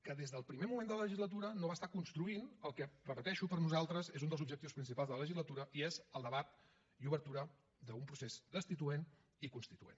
que des del primer moment de la legislatura no va estar construint el que ho repeteixo per nosaltres és un dels objectius principals de la legislatura i és el debat i obertura d’un procés destituent i constituent